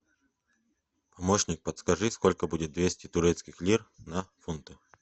помощник подскажи сколько будет двести турецких лир на фунты